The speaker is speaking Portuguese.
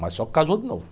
Mas só casou de novo.